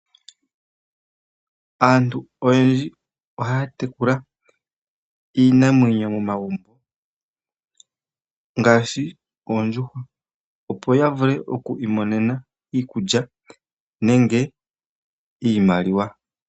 Aantu oyendji ohaya tekula iinamwenyo momagumbo ngaashi oondjuhwa opo ya vule oku imonena iikulya nenge iimaliwa.